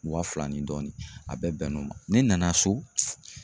Waa fila ni dɔɔnin a bɛɛ bɛnn'o ma, ne nana so